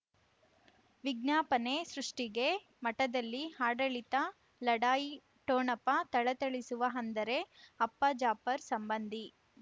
ವಿಜ್ಞಾಪನೆ ಸೃಷ್ಟಿಗೆ ಮಠದಲ್ಲಿ ಆಡಳಿತ ಲಢಾಯಿ ಠೊಣಪ ಥಳಥಳಿಸುವ ಅಂದರೆ ಅಪ್ಪ ಜಾಫರ್ ಸಂಬಂಧಿ